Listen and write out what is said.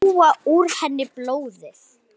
Sjúga úr henni blóðið.